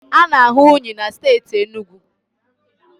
A na-ahụ unyi na steeti Enugu